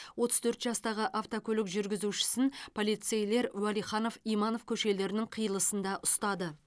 отыз төрт жастағы автокөлік жүргізушісін полицейлер уәлиханов иманов көшелерінің қиылысында ұстады